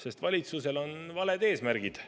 Sest valitsusel on valed eesmärgid.